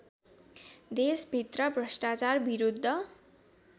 देशभित्र भ्रष्टाचार विरुद्ध